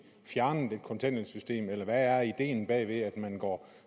fjernede kontanthjælpssystemet eller hvad er ideen bag at man går